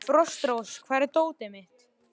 Frostrós, hvar er dótið mitt?